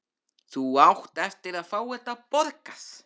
Þú átt eftir að fá þetta borgað!